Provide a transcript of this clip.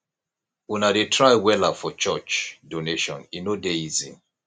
una dey try wella for church donation e no dey easy